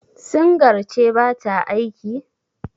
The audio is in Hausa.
singar ce ba ta aiki?